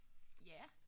Ja